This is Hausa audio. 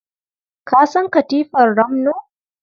Ka san katifar ramno?